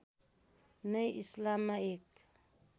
नै इस्लाममा एक